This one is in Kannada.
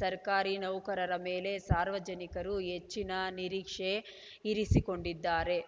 ಸರ್ಕಾರಿ ನೌಕರರ ಮೇಲೆ ಸಾರ್ವಜನಿಕರು ಹೆಚ್ಚಿನ ನಿರೀಕ್ಷೆ ಇರಿಸಿಕೊಂಡಿದ್ದಾರೆ